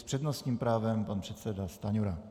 S přednostním právem pan předseda Stanjura.